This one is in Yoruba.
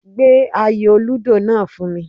Gbé ayò lúdò náà fún mi